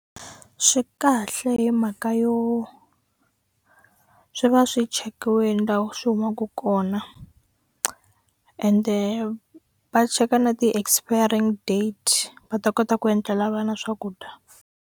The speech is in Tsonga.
Swi kahle hi mhaka yo swi va swi chekiwini lawa swi humaka kona ende va cheka na ti-expiring date va ta kota ku endlela vana swakudya.